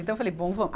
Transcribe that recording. Então eu falei, bom